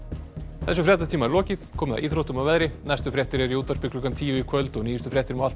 þessum fréttatíma er lokið komið að íþróttum og veðri næstu fréttir eru í útvarpi klukkan tíu í kvöld og nýjustu fréttir má alltaf